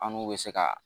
An n'u bɛ se ka